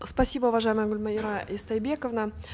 спасибо уважаемая гульмайра истайбековна